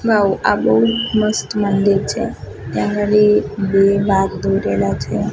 આ બૌ મસ્ત મંદિર છે ત્યાં અગાડી બે વાઘ દોરેલા છે.